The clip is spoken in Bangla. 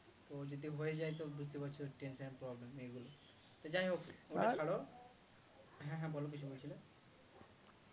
তো যদি হয়ে যায় তো বুঝতেই পারছো tension এর problem মেয়েগুলোর সে যাই হোক ওটা ছাড়ো হ্যাঁ হ্যাঁ বলো কিছু বলছিলে